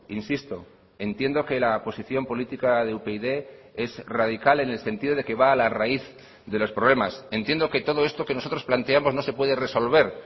insisto entiendo que la posición política de upyd es radical en el sentido de que va a la raíz de los problemas entiendo que todo esto que nosotros planteamos no se puede resolver